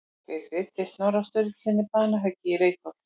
Hver greiddi Snorra Sturlusyni banahöggið í Reykholti?